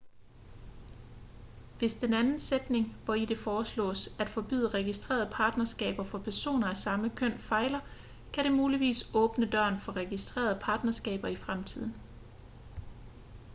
hvis den anden sætning hvori det foreslås at forbyde registrerede partnerskaber for personer af samme køn fejler kan det muligvis åbne døren for registrerede partnerskaber i fremtiden